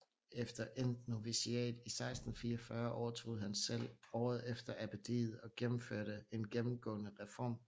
Efter endt noviciat i 1644 overtog han selv året efter abbediet og gennemførte en genemgående reform